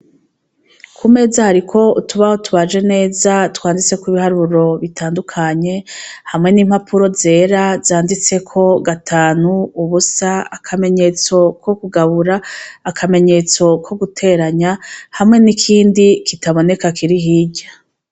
Ku meza hariko utubaho tubaje neza twanditseko ibiharuro bitandukanye hamwe n'impapuro zera zanditseko gatanu ubusa akamenyetso ko kugabura akamenyetso ko guteranya hamwe n'ikindi kitaboneka Kiri hirya.